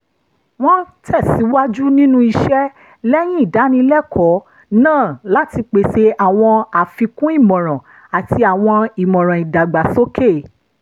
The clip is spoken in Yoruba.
wọ́n tẹ̀síwájú nínú iṣẹ́ lẹ́yìn ìdánilẹ́kọ̀ọ́ náà láti pèsè àwọn àfikún ìmọ̀ràn àti àwọn ìmọ̀ràn ìdàgbàsókè